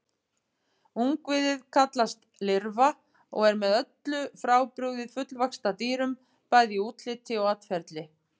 Ungviðið kallast lirfa og er með öllu frábrugðið fullvaxta dýrum, bæði í útliti og atferli.